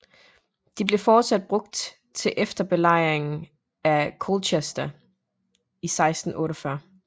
De blev fortsat brugt til efter belejringen af Colchester i 1648